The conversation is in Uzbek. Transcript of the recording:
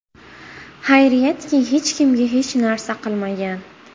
Xayriyatki, hech kimga hech narsa qilmagan.